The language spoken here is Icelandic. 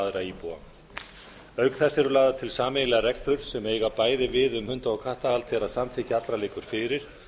aðra íbúa auk þess eru lagðar til sameiginlegar reglur sem eiga bæði við um hunda og kattahald þegar samþykki allra liggur fyrir